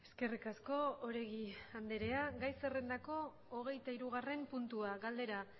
eskerrik asko oregi andrea gai zerrendako hogeita hirugarren puntua galdera